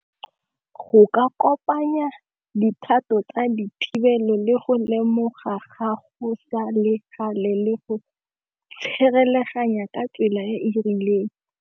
Go ka kopanya dikgato tsa dithibelo le go lemoga gago sa le gale le go ka tsela e e rileng.